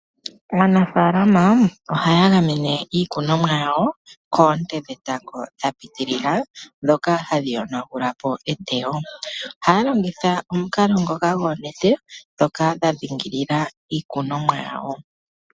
Aanafalama ohaya gamene iikunomwa yawo koonte dhe tango dha pitilila, ndhoka hadhi yonagulapo eteyo. ohaa longitha omukalo ngoka goo nete dhoka dha dhingilila iikunomwa yawo.